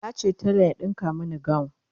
nace telan ya ɗinka Mani gawun